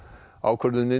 ákvörðunin